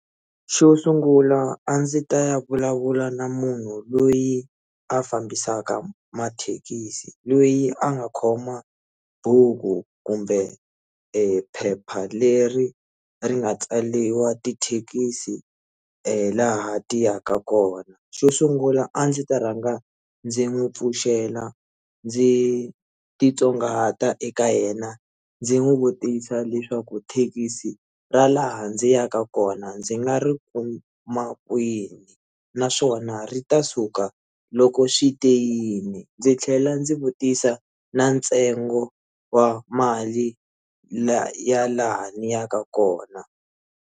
Xo sungula a ndzi ta ya vulavula na munhu loyi a fambisaka mathekisi loyi a nga khoma buku kumbe ephepha leri ri nga tsaliwa tithekisi laha ti yaka kona xo sungula a ndzi ta rhanga ndzi n'wi pfuxela ndzi titsongahata eka yena ndzi n'wi vutisa leswaku thekisi ra laha ndzi yaka kona ndzi nga ri kuma kwini naswona ri ta suka loko swite yini ndzi tlhela ndzi vutisa na ntsengo wa mali ya laha ni yaka kona.